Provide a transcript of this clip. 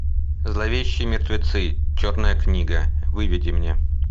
зловещие мертвецы черная книга выведи мне